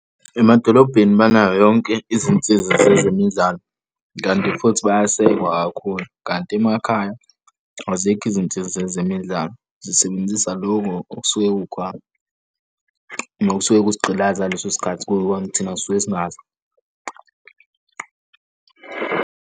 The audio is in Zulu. Emadolobheni banayo yonke izinsiza zezemidlalo kanti futhi bayasekwa kakhulu, kanti emakhaya azikho izinsiza zezemidlalo zisebenzisa lokho okusuke kukhona nokusuke kusigqilaza ngaleso sikhathi kuyikhona ukuthi thina sisuke singazi.